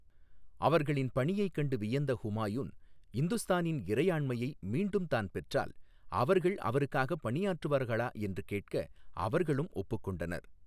அவர்களின் பணியைக் கண்டு வியந்த ஹுமாயூன், இந்துஸ்தானின் இறையாண்மையை மீண்டும் தான் பெற்றால் அவர்கள் அவருக்காக பணியாற்றுவார்களா என்று கேட்க அவர்களும் ஒப்புக்கொண்டனர்.